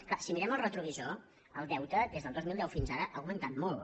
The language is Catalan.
clar si mirem el re·trovisor el deute des del dos mil deu fins ara ha augmentat molt